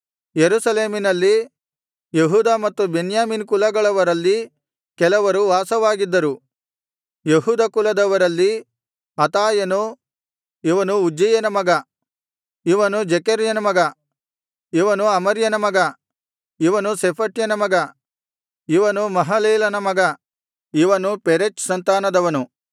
ಯೆರೂಸಲೇಮಿನಲ್ಲಿ ಯೆಹೂದ ಮತ್ತು ಬೆನ್ಯಾಮೀನ್ ಕುಲಗಳವರಲ್ಲಿ ಕೆಲವರು ವಾಸವಾಗಿದ್ದರು ಯೆಹೂದ ಕುಲದವರಲ್ಲಿ ಅತಾಯನು ಇವನು ಉಜ್ಜೀಯನ ಮಗ ಇವನು ಜೆಕರ್ಯನ ಮಗ ಇವನು ಅಮರ್ಯನ ಮಗ ಇವನು ಶೆಫಟ್ಯನ ಮಗ ಇವನು ಮಹಲಲೇಲನ ಮಗ ಇವನು ಪೆರೆಚ್ ಸಂತಾನದವನು